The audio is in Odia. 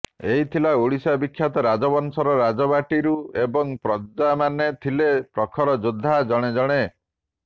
ଏଠି ଥିଲା ଓଡ଼ିଶାବିଖ୍ୟାତ ରାଜବଂଶର ରାଜବାଟୀସବୁ ଏବଂ ପ୍ରଜାମାନେ ଥିଲେ ପ୍ରଖର ଯୋଦ୍ଧା ଜଣେଜଣେ